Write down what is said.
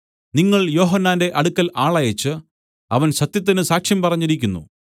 നിങ്ങൾ യോഹന്നാന്റെ അടുക്കൽ ആളയച്ച് അവൻ സത്യത്തിന് സാക്ഷ്യം പറഞ്ഞിരിക്കുന്നു